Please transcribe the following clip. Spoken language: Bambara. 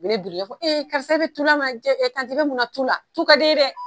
Ni ne birilen u b'a fɔ e karisa bɛ tu la ma bɛ mun na tu la tu ka di e ye dɛ